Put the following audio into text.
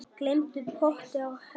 Gleymdi potti á hellu